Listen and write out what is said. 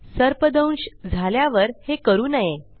सर्पदंश झाल्यावर हे करू नये